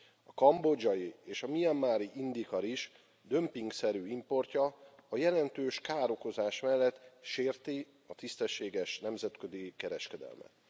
A kambodzsai és a mianmari indica rizs dömpingszerű importja a jelentős károkozás mellett sérti a tisztességes nemzetközi kereskedelmet.